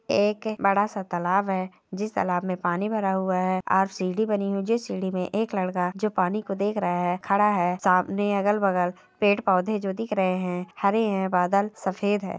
एक बड़ा सा तालाब है जिस तालाब मे पानी भर हुआ है और सीढ़ी बनी हुई है जिस सीढ़ी मे एक लड़का जो पानी को देख रहा है खड़ा है सामने अगल-बगल पेड़-पौधे जो दिख रहे है हरे है बादल सफेद है।